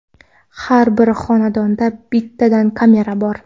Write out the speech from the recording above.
Har bir xonada bittadan kamera bor.